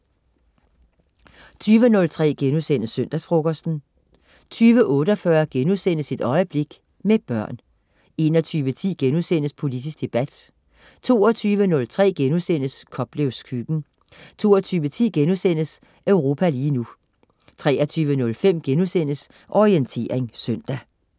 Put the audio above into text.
20.03 Søndagsfrokosten* 20.48 Et øjeblik, Med børn* 21.10 Politisk debat* 22.03 Koplevs Køkken* 22.10 Europa lige nu* 23.05 Orientering søndag*